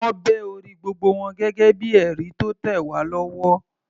Wọ́n bẹ orí gbogbo wọn gẹ́gẹ́ bíi ẹ̀rí tó tẹ̀ wá lọ́wọ́.